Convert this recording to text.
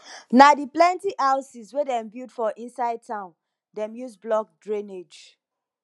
na di plenty houses wey dem build for inside town dem use block drainage